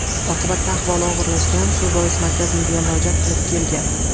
Oqibatda ahvoli og‘irlashgan, shu bois markazimizga murojaat qilib kelgan.